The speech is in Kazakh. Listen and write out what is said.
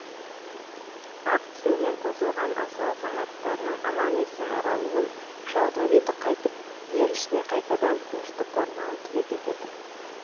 ақ тілеумен қосылған асыл азаматтарының аман есен оралуын жаудың беті қайтып ел ішіне қайтадан тыныштық орнауын тілек етеді